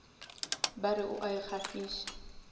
ba re o a ikgafiša